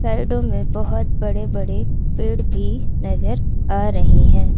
साइडों में बहौत बड़े बड़े पेड़ भी नजर आ रहे हैं।